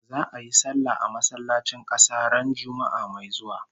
Za'a yi sallah a masallacin kasa ran Juma'ah mai zuwa